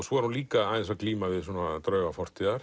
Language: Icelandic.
svo er hún líka aðeins að glíma við drauga fortíðar